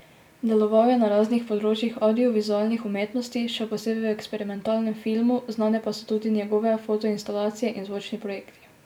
Deloval je na raznih področjih avdiovizualnih umetnosti, še posebej v eksperimentalnem filmu, znane pa so tudi njegove fotoinstalacije in zvočni projekti.